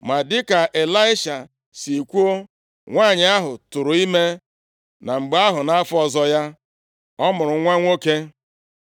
Ma dịka Ịlaisha si kwuo, nwanyị ahụ tụụrụ ime, na mgbe ahụ nʼafọ ọzọ ya, ọ mụrụ nwa nwoke.